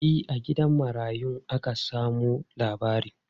E, a gidan marayun aka samo labarin.